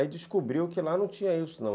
Aí descobriu que lá não tinha isso não.